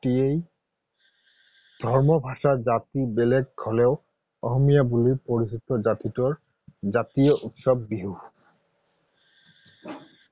ধৰ্ম ভাষা জাতি বেলেগ হলেও অসমীয়া বুলি পৰিচিত জাতিটোৰ জাতীয় উৎসৱ বিহু।